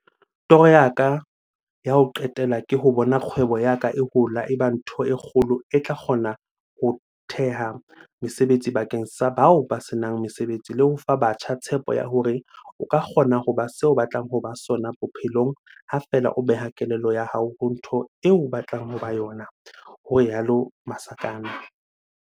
"Toro ya ka ya ho qetela ke ho bona kgwebo ya ka e hola e ba ntho e kgolo e tla kgona ho theha mesebetsi bakeng sa bao ba se nang mesebetsi le ho fa batjha tshepo ya hore o ka kgona ho ba se o batlang ho ba sona bophelong ha feela o beha kelello ya hao ho ntho eo batlang ho ba yona," ho rialo Masakane.